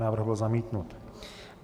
Návrh byl zamítnut.